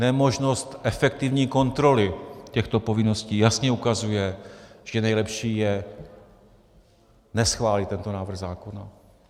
Nemožnost efektivní kontroly těchto povinností jasně ukazuje, že nejlepší je neschválit tento návrh zákona.